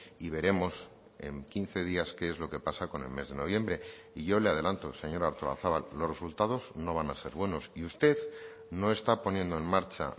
y veremos en quince días qué es lo que pasa con el mes de noviembre y yo le adelanto señora artolazabal los resultados no van a ser buenos y usted no está poniendo en marcha